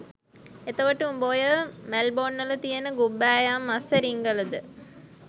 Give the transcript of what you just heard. එතකොට උඹ ඔය මැල්බොන්වල තියෙන ගුබ්බෑයම් අස්සෙ රිංගලද